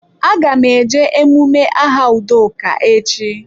A ga m eje emume aha Udoka echi.